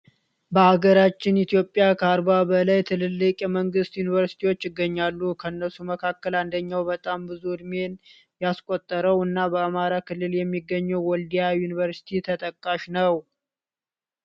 በሃገራችን ኢትዮጵያ ከ 40 በላይ ትልልቅ የመንግስት ዩኑቨርሲቲዎች ይገኛሉ። ከነሱ መካከል አንደኛው በጣም ብዙ እድሜን ያስቆጠረው እና በአማራ ክልል የሚገኘው ወልዲያ ዩኒቨርሲቲ ተጠቃሽ ነው።